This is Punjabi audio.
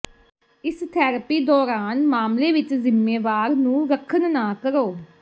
ਇਸ ਥੈਰੇਪੀ ਦੌਰਾਨ ਮਾਮਲੇ ਵਿਚ ਜ਼ਿੰਮੇਵਾਰ ਨੂੰ ਰੱਖਣ ਨਾ ਕਰੋ